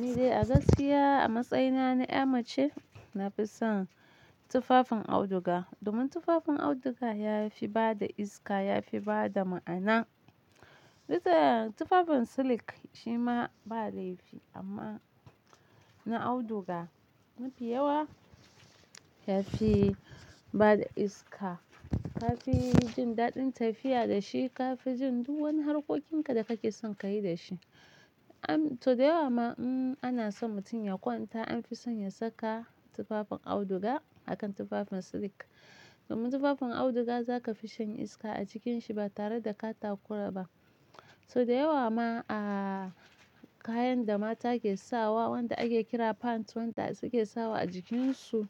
Ni dai a gaskiya a matsayina na mace, na fi son tufafin auduga domin tufafin auduga ya fi bada iska, ya fi bada ma'ana. Bisa tufafin silik shima ba laifi amma na auduga mafi yawa ya fi bada iska, ka fi jin daɗin tafiya da shi, ka fi jin duk wani harkokinka da kake son ka yi da shi. To da yawa ma, um, ana so mutum ya kwanta an fi son ya saka tufafin auduga akan tufafin silik. Domin tufafin auduga za ka fi shan iska a cikinshi ba tare da ka takura ba. So da yawa ma a kayan da mata ke sawa, wanda ake kira pants, wanda suke sawa a jikinsu